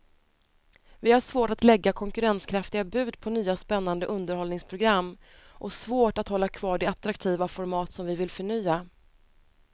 Vi har svårt att lägga konkurrenskraftiga bud på nya spännande underhållningsprogram och svårt att hålla kvar de attraktiva format som vi vill förnya.